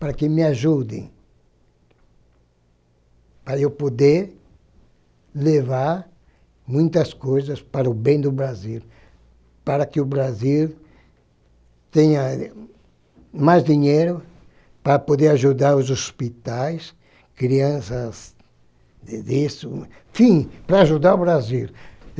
para que me ajudem, para eu poder levar muitas coisas para o bem do Brasil, para que o Brasil tenha mais dinheiro para poder ajudar os hospitais, crianças, enfim, para ajudar o Brasil.